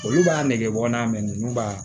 Olu b'a nege bɔ n'a mɛn ninnu b'a